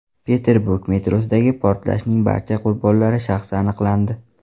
Peterburg metrosidagi portlashning barcha qurbonlari shaxsi aniqlandi.